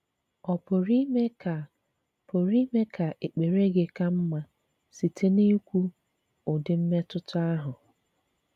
Ọ̀ pụrụ ime ka pụrụ ime ka èkpèrè gị ka mma site n’íkwu ụdị̀ mmetụta ahụ?